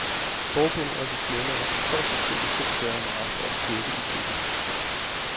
Forbundet og dets medlemmer kan højst sandsynligt selv gøre meget for at styrke etikken.